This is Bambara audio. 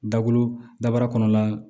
Dakolo dabara kɔnɔna